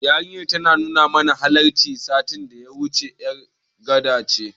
Yarinyar da ta nuna mana hanyar, satin da ya wuce ƴar Gana ce.